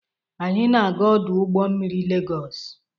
Anyị na-aga ọdụ ụgbọ mmiri Lagos?